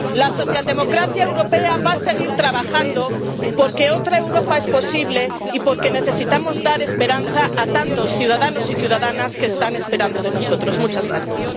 La socialdemocracia europea va a seguir trabajando porque otra Europa es posible y porque necesitamos dar esperanza a tantos ciudadanos y ciudadanas que están esperando que actuemos.